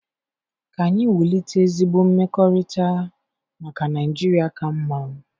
Ka anyị wulite ezigbo mmekọrịta maka Naịjirịa ka mma.